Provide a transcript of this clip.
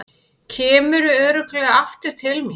Kemurðu örugglega aftur til mín?